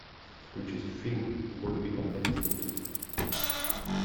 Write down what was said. включить фильм в бой идут одни старики